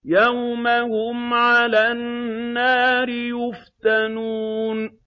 يَوْمَ هُمْ عَلَى النَّارِ يُفْتَنُونَ